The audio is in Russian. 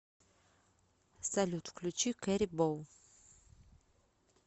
салют включи кэрибоу